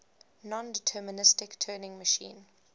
nondeterministic turing machine